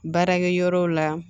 Baarakɛ yɔrɔw la